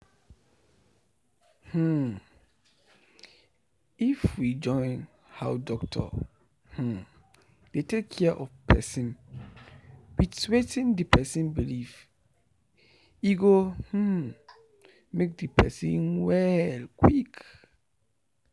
hmm um! if we join how doctor um dey take care of person with wetin the person believe e go um make the person well quick